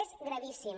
és gravíssim